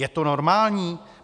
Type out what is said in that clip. Je to normální?